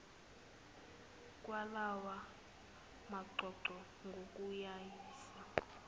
kwalawa maqoqo ngokuwayisa